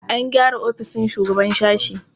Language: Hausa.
An gyara ofishin shugaban sashe.